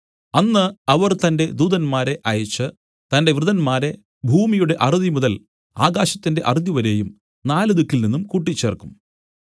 അന്ന് അവൻ തന്റെ ദൂതന്മാരെ അയച്ച് തന്റെ വൃതന്മാരെ ഭൂമിയുടെ അറുതിമുതൽ ആകാശത്തിന്റെ അറുതിവരെയും നാല് ദിക്കിൽനിന്നും കൂട്ടിച്ചേർക്കും